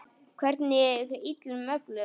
Hvernig illum öflum?